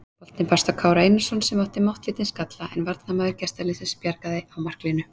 Boltinn barst á Kára Einarsson sem átti máttlítinn skalla en varnarmaður gestaliðsins bjargaði á marklínu.